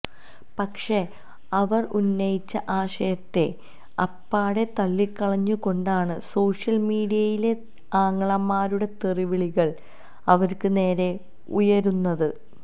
പക്ഷേ അവര് ഉന്നയിച്ച ആശയത്തെ അപ്പാടെ തളളിക്കളഞ്ഞു കൊണ്ടാണ് സോഷ്യല് മീഡിയയിലെ ആങ്ങളമാരുടെ തെറിവിളികള് അവര്ക്ക് നേരെ ഉയരുന്നത്